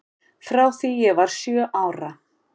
Frá því ég var sjö ára.